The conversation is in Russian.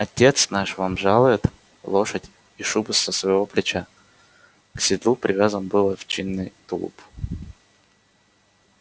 отец наш вам жалует лошадь и шубу со своего плеча к седлу привязан был овчинный тулуп